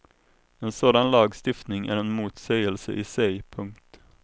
En sådan lagstiftning är en motsägelse i sig. punkt